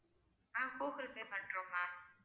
ஆஹ் Google Pay பண்றோம் ma'am